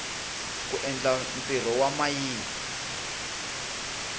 ku endla ntirho wa mayini